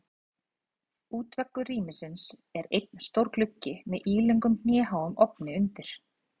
Útveggur rýmisins er einn stór gluggi með ílöngum hnéháum ofni undir.